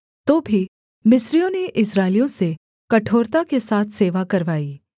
तो भी मिस्रियों ने इस्राएलियों से कठोरता के साथ सेवा करवाई